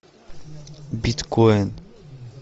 биткоин